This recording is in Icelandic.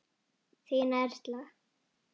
Þín, Erla.